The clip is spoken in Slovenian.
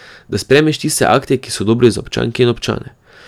Da sprejmeš tiste akte, ki so dobri za občanke in občane.